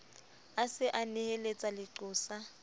a se a neheletsa leqosa